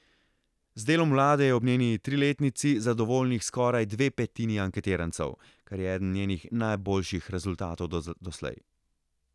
Z delom vlade je ob njeni triletnici zadovoljnih skoraj dve petini anketirancev, kar je eden njenih najboljših rezultatov doslej.